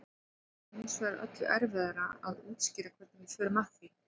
það er hins vegar öllu erfiðara að útskýra hvernig við förum að því